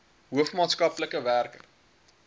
hoof maatskaplike werker